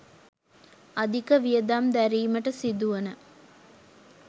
අධික වියදම් දැරීමට සිදුවන